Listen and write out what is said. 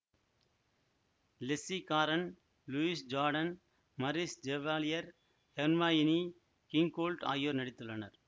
Leslie Caron Louis Jourdan Maurice Chevalier Hermione Gingold ஆகியோர் நடித்துள்ளனர்